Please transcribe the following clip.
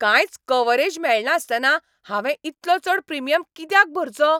कांयच कव्हरेज मेळनासतना हांवें इतलो चड प्रिमियम कित्याक भरचो?